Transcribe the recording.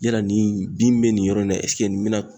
Yala nin bin min bɛ nin yɔrɔ in na nin bɛna